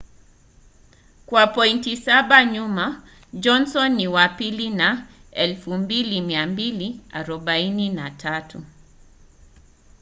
kwa pointi saba nyuma johnson ni wa pili na 2,243